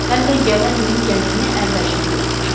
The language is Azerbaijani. Həm də gələn ilin gəlirini əvvəlcədən götürmüşəm.